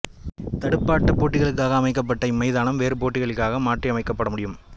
துடுப்பாட்ட போட்டிகளுக்காக அமைக்கப்பட்ட இம்மைதானம் வேறு போட்டிகளுக்காக மாற்றியமைக்கப்பட முடியும்